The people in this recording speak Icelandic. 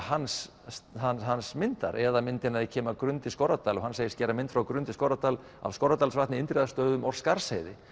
hans hans myndir eða myndina þegar ég kem að Grund í Skorradal og hann segist gera mynd frá Grund í Skorradal af Skorradalsvatni Indriðastöðum og Skarðsheiði